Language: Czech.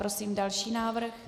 Prosím další návrh.